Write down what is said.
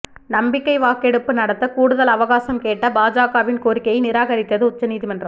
நம்பிக்கை வாக்கெடுப்பு நடத்தக் கூடுதல் அவகாசம் கேட்ட பாஜகவின் கோரிக்கையை நிராகரித்தது உச்சநீதிமன்றம்